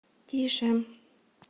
тише